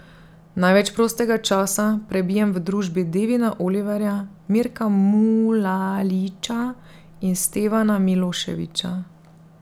Največ prostega časa prebijem v družbi Devina Oliverja, Mirka Mulaliča in Stevana Miloševića.